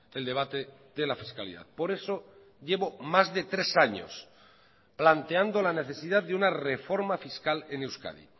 el debate de la fiscalidad por eso llevo más de tres años planteando la necesidad de una reforma fiscal en euskadi